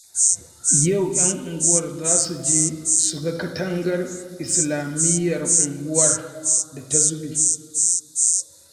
Yau 'yan unguwar za su je su ga katangar islamiyyar unguwar da ta zube